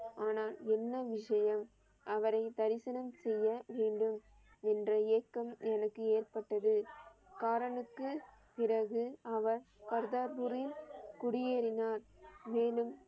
ஆனால் என்ன விஷயம் அவரை தரிசனம் செய்ய வேண்டும் என்ற ஏக்கம் எனக்கு ஏற்பட்டது. காரனுக்கு பிறகு அவர் கர்தாபூரில் குடியேறினார். மேலும்